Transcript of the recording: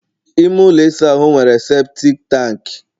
ime ụlọ ahụ nwere seputik tanki